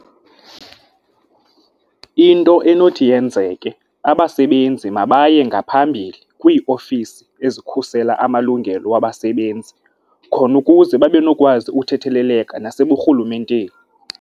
Into enothi yenzeke, abasebenzi mabaye ngaphambili kwiiofisi ezikhusela amalungelo wabasebenzi khona ukuze babe nokwazi uthetheleleka naseburhulumenteni.